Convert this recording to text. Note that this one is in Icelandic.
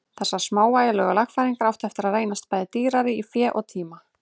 Þessar smávægilegu lagfæringar áttu eftir að reynast bæði dýrar í fé og tíma.